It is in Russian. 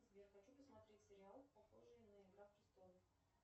сбер хочу посмотреть сериал похожий на игра престолов